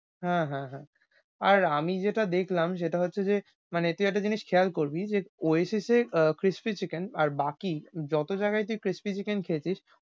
হ্যাঁ হ্যাঁ হ্যাঁ, আর আমি যেটা দেখলাম সেটা হচ্ছে যে মানে তুই একটা জিনিস খেয়াল করবি, যে কইসেসে আহ crispy chicken আর বাকি যত জায়গাই তুই crispy chicken খেতিস,